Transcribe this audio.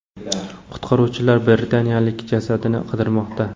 Qutqaruvchilar britaniyalikning jasadini qidirmoqda.